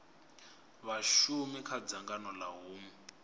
vhashumi kha dzangano ha hunwe